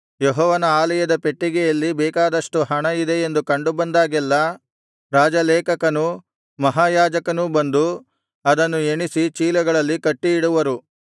ಯೆಹೋವನ ಆಲಯದ ಪೆಟ್ಟಿಗೆಯಲ್ಲಿ ಬೇಕಾದಷ್ಟು ಹಣ ಇದೆಯೆಂದು ಕಂಡು ಬಂದಾಗೆಲ್ಲಾ ರಾಜಲೇಖಕನೂ ಮಹಾಯಾಜಕನೂ ಬಂದು ಅದನ್ನು ಎಣಿಸಿ ಚೀಲಗಳಲ್ಲಿ ಕಟ್ಟಿ ಇಡುವರು